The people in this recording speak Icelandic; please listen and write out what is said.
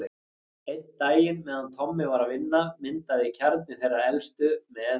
Einn daginn meðan Tommi var að vinna, myndaði kjarni þeirra elstu, með